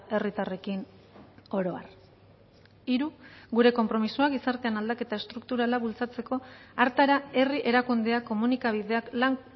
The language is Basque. herritarrekin oro har hiru gure konpromisoa gizartean aldaketa estrukturala bultzatzeko hartara herri erakundeak komunikabideak lan